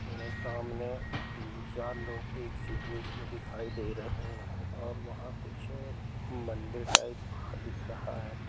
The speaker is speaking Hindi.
यह सामने तीन चार लोग एक सी ड्रेस में दिखाई दे रहे हैं और वह कुछ मंदिर टाइप दिख रहा है।